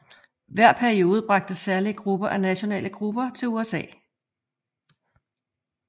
Hver periode bragte særlige grupper af nationale grupper til USA